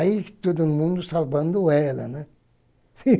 Aí todo mundo salvando ela, né?